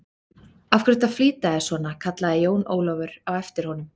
Af hverju ertu að flýta þér svona, kallaði Jón Ólafur á eftir honum.